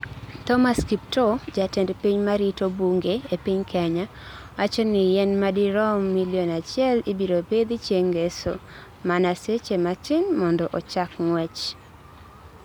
Thomas Kiptoo, jatend piny ma rito bunge e piny Kenya, wacho ni yien ma dirom milion achiel ibiro pidhi chieng' ngeso, mana seche matin mondo ochak ng'wech.